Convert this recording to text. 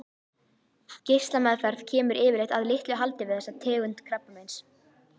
Geislameðferð kemur yfirleitt að litlu haldi við þessa tegund krabbameins.